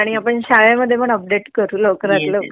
आणि आपण शाळेमध्ये पण अपडेट केउ लवकरात लवकर